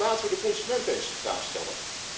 Laten we de consument eens centraal stellen.